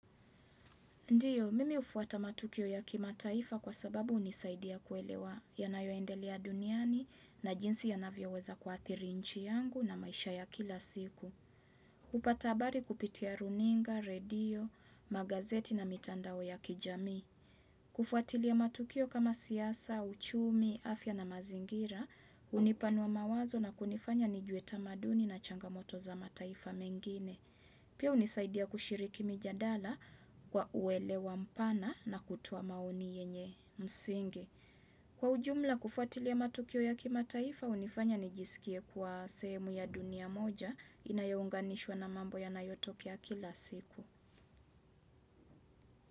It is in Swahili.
Ndiyo, mimi hufuata matukio ya kimataifa kwa sababu hunisaidia kuelewa yanayoendelea duniani na jinsi yanavyoweza kuathiri inchi yangu na maisha ya kila siku. Hupata habari kupitia runinga, redio, magazeti na mitandao ya kijamii. Hufuatilia matukio kama siyasa, uchumi, afya na mazingira, hunipanua mawazo na kunifanya nijue tamaduni na changamoto za mataifa mengine. Pia hunisaidia kushiriki mijadala kwa uelewa mpana na kutoa maoni yenye msingi. Kwa ujumla kufuatilia matukio ya kimataifa, hunifanya nijisikie kwa sehemu ya dunia moja inayounganishwa na mambo yanayotokea kila siku.